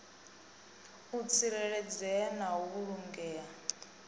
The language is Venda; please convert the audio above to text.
u tsireledzea na u vhulungea